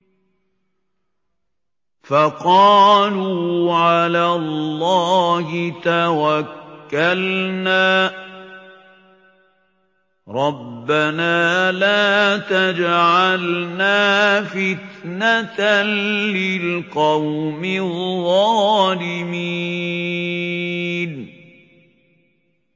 فَقَالُوا عَلَى اللَّهِ تَوَكَّلْنَا رَبَّنَا لَا تَجْعَلْنَا فِتْنَةً لِّلْقَوْمِ الظَّالِمِينَ